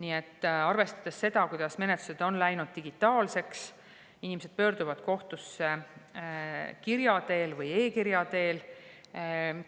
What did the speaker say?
Nii et arvestades seda, et menetlused on läinud digitaalseks, inimesed pöörduvad kohtusse kirja või e-kirja teel,